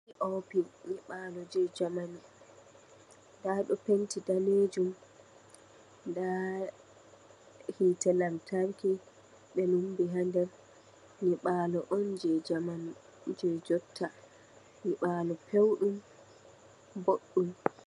P, o, p nyiɓalo je jamanu, Nda ɗo penti danejum nda hite lamtarki ɓe lumbi ha nder. Nyiabalo, on je jamanu je jotta, Nyiɓalo pewɗum boɗɗum.